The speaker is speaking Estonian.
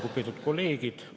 Lugupeetud kolleegid!